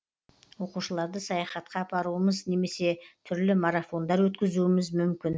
оқушыларды саяхатқа апаруымыз немесе түрлі марафондар өткізуіміз мүмкін